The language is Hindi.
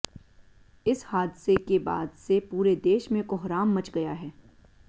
इस हादसे के बाद से पूरे देश में कोहराम मच गया है